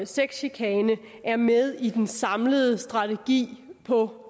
sexchikane er med i den samlede strategi på